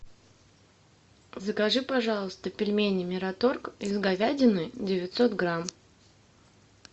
закажи пожалуйста пельмени мираторг из говядины девятьсот грамм